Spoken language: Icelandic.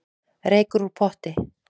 Reykur úr potti